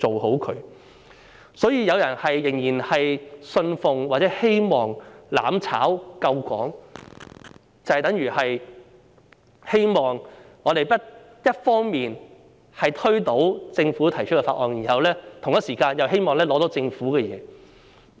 因此，若有人仍然信奉或希望"攬炒"救港，就等於一方面希望推倒政府提出的法案，同時又希望拿到政府的資源。